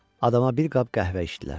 Adama bir qab qəhvə içdilər.